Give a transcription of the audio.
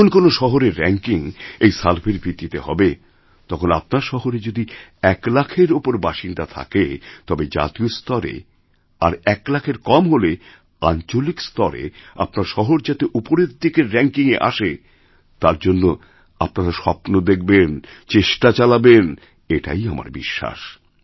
যখন কোনো শহরের র্যাঙ্কিং এই সার্ভের ভিত্তিতে হবে তখন আপনার শহরেযদি ১ লাখের ওপর বাসিন্দা থাকে তবে জাতীয় স্তরে আর ১ লাখের কম হলে আঞ্চলিক স্তরেআপনার শহর যাতে ওপরের দিকের র্যাংকিং এ আসে তার জন্য আপনারা স্বপ্ন দেখবেনচেষ্টা চালাবেন এটাই আমার বিশ্বাস